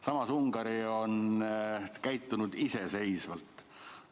Samas, Ungari on käitunud iseseisvalt.